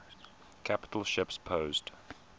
capital ships posed